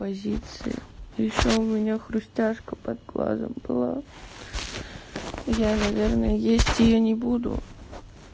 позиции ещё у меня хрустяшка под глазом была я наверно есть её не буду